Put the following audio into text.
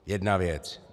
Jedna věc.